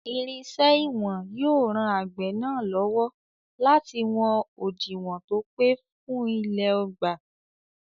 Irinṣẹ́ ìwọ̀n yóò ran àgbẹ̀ náà lọ́wọ́ láti wọn òdiwọ̀n tó pé fún ilẹ̀ ọgbà.